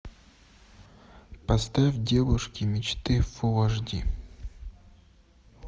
поставь девушки мечты фул аш ди